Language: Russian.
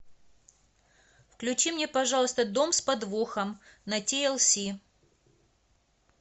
включи мне пожалуйста дом с подвохом на ти эл си